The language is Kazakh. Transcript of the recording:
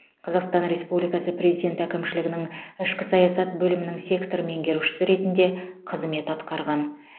қазақстан республикасы президенті әкімшілігінің ішкі саясат бөлімінің сектор меңгерушісі ретінде қызмет атқарған